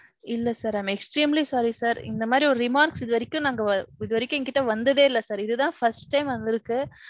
இல்ல sir. I am extremely sorry sir. இந்த மாதிரி ஒரு remarks இதுவரைக்கும் நாங்க, இது வரைக்கும் என்கிட்டே வந்ததே இல்ல sir. இதுதான் first time வந்திருக்கு.